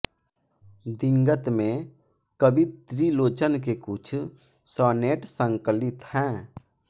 दिगंत में कवि त्रिलोचन के कुछ सॉनेट संकलित हैं